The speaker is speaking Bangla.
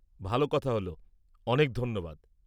ভাল কথা হল! অনেক ধন্যবাদ!